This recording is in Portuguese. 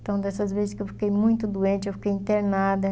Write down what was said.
Então, dessas vezes que eu fiquei muito doente, eu fiquei internada.